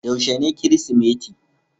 Yaushe ne kirisimeti?